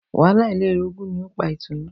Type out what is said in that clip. Wàhálà ilé olórogún ni ó pa Ìtùnú